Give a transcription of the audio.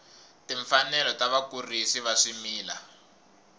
timfanelo ta vakurisi va swimila